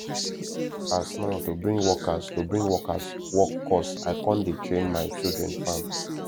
as now to bring workers to bring workers work cost i con dey train my children farm